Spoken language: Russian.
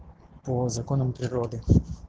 по законам природы